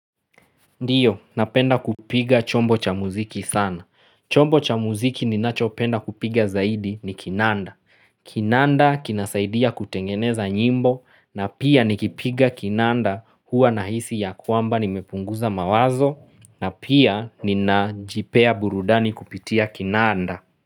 Ndiyo, napenda kupiga chombo cha muziki sana. Chombo cha muziki ninachopenda kupiga zaidi ni kinanda. Kinanda kinasaidia kutengeneza nyimbo na pia nikipiga kinanda huwa nahisi ya kwamba nimepunguza mawazo na pia ninajipea burudani kupitia kinanda.